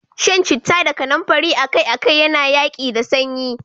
Shan citta da kanumfari akai-akai yana yaƙi da sanyi.